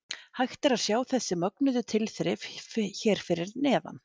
Hægt er að sjá þessi mögnuðu tilþrif hér fyrir neðan.